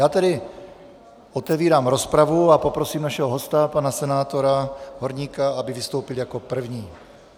Já tedy otevírám rozpravu a poprosím našeho hosta, pana senátora Horníka, aby vystoupil jako první.